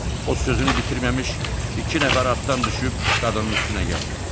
O sözünü bitirməmiş iki nəfər atdan düşüb qadının üstünə gəldi.